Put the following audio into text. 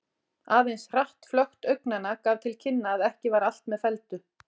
Aðeins hratt flökt augnanna gaf til kynna að ekki var allt með felldu.